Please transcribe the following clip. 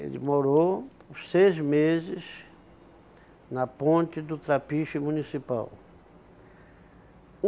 Ele morou por seis meses na ponte do Trapiche Municipal.